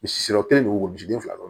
Misi yɔrɔ kelen don wo si bi fila